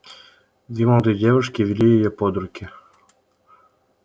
две молодые девушки вели её под руки